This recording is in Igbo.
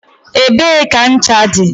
Ebee ka ncha dị?